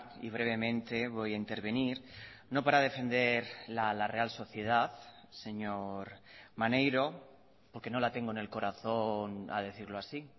y brevemente voy a intervenir no para defender la real sociedad señor maneiro porque no la tengo en el corazón a decirlo así